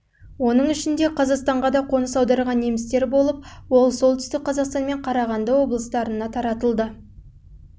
оның ішінде қазақстанға да қоныс аударған немістер болып ол солтүстік қазақстан мен қарағанды облыстарына таралды